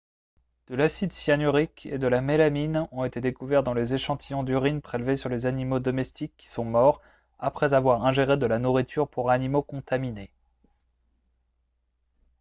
de l'acide cyanurique et de la mélamine ont été découverts dans les échantillons d'urine prélevés sur les animaux domestiques qui sont morts après avoir ingéré de la nourriture pour animaux contaminée